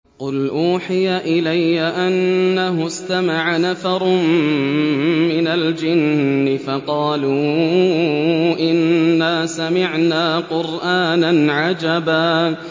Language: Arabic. قُلْ أُوحِيَ إِلَيَّ أَنَّهُ اسْتَمَعَ نَفَرٌ مِّنَ الْجِنِّ فَقَالُوا إِنَّا سَمِعْنَا قُرْآنًا عَجَبًا